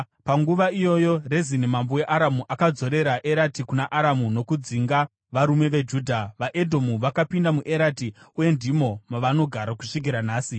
Panguva iyoyo, Rezini mambo weAramu akadzorera Erati kuna Aramu nokudzinga varume veJudha. VaEdhomu vakapinda muErati uye ndimo mavanogara kusvikira nhasi.